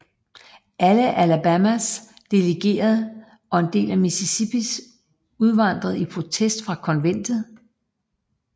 Alle Alabamas delegerede og en del af Mississippis udvandrede i protest fra Konventet